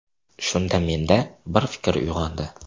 Shunda menda bir fikr uyg‘ondi.